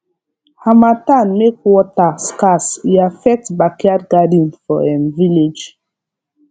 harmattan make water scarce e affect backyard garden for um village